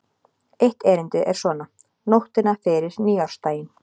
Eitt erindið er svona: Nóttina fyrir nýársdaginn